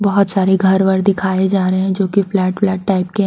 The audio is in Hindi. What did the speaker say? बोहोत सारे घर वर दिखाए जा रहे हैं जो की फ्लैट व्लैट टाइप के--